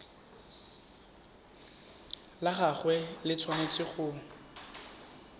la gagwe le tshwanetse go